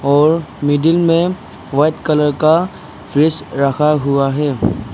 और मिडिल में white colour का फ्रिज रखा हुआ है।